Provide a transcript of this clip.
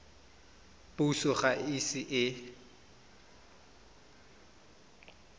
puso ga e ise e